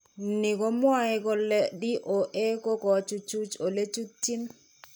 Ni ko mwae kole DOA ko kochuchuch ole chutyiin.